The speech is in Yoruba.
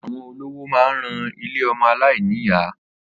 Àwọn olówó ma ń ran ilé ọmọ aláìníyàá.